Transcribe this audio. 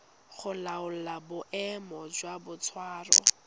go laola boemo jwa boitshwaro